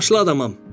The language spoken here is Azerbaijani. Yaşlı adamam.